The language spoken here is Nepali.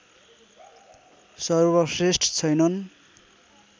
सर्वश्रेष्ठ छैनन्